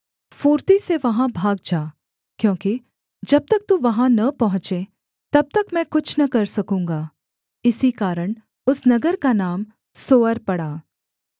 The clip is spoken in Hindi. फुर्ती से वहाँ भाग जा क्योंकि जब तक तू वहाँ न पहुँचे तब तक मैं कुछ न कर सकूँगा इसी कारण उस नगर का नाम सोअर पड़ा